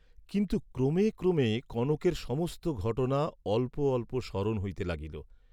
কিন্তু ক্রমে ক্রমে কনকের সমস্ত ঘটনা অল্প অল্প স্মরণ হইতে লাগিল।